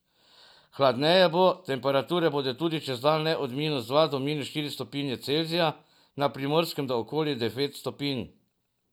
Hladneje bo, temperature bodo tudi čez dan le od minus dva do štiri stopinje Celzija, na Primorskem do okoli devet stopinj.